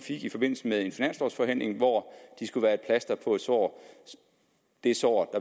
i forbindelse med en finanslovforhandling hvor de skulle være et plaster på et sår det sår